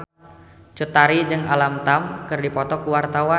Cut Tari jeung Alam Tam keur dipoto ku wartawan